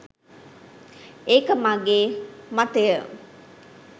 ඒක මගේ මතය.